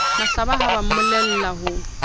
mahlaba ha ba mmolella ho